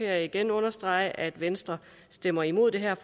jeg igen understrege at venstre stemmer imod det her